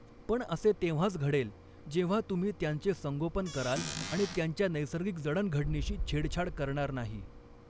पण असे तेंव्हाच घडेल जेंव्हा तुम्ही त्यांचे संगोपन कराल आणि त्यांच्या नैसर्गिक जडणघडणीशी छेडछाड करणार नाही.